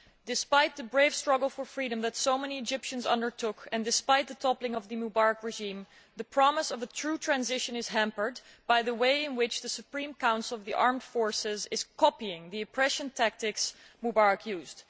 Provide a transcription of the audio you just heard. Despite the brave struggle for freedom that so many Egyptians undertook, and despite the toppling of the Mubarak regime, the promise of a true transition is hampered by the way in which the Supreme Council of the Armed Forces is copying the oppressive tactics Mubarak used.